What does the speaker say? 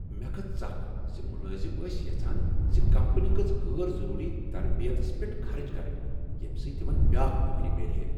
مےٚ کھژ ژکھ ز ملٲزم ٲسۍ یژھان زِ کمپنی گژھ غیر ضروری تربیتس پیٹھ خرچ کرٕنۍ ییٚمہِ سۭتۍ تمن بیٛاكھ نوکری میلہِ ہے۔